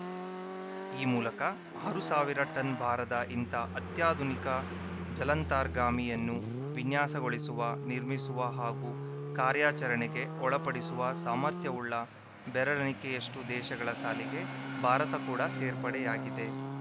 ಈ ಮೂಲಕ ಆರು ಸಾವಿರ ಟನ್‌ ಭಾರದ ಇಂಥ ಅತ್ಯಾಧುನಿಕ ಜಲಾಂತರ್ಗಾಮಿಯನ್ನು ವಿನ್ಯಾಸಗೊಳಿಸುವ ನಿರ್ಮಿಸುವ ಹಾಗೂ ಕಾರ್ಯಾಚರಣೆಗೆ ಒಳಪಡಿಸುವ ಸಾಮರ್ಥ್ಯವುಳ್ಳ ಬೆರಳೆಣಿಕೆಯಷ್ಟುದೇಶಗಳ ಸಾಲಿಗೆ ಭಾರತ ಕೂಡ ಸೇರ್ಪಡೆಯಾಗಿದೆ